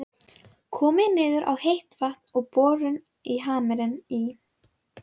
Komið niður á heitt vatn við borun á Hamri í